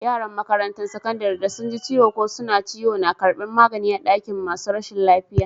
Yaran makarantan sakandaren da sun ji ciwo ko suna ciwo na karbin magani a'dakin masun rashin lafiya.